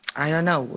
I don't know.